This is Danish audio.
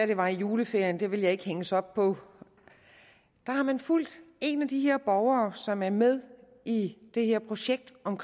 det var i juleferien men det vil jeg ikke hænges op på fulgt en af de borgere som er med i det her projekt om